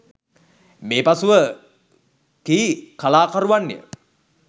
මේ පසුව කී කලාකරුවන් ය